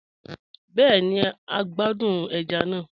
Bẹẹni, à n gbàdún ẹ̀já náà.